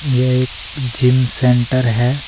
यह एक gym centre है।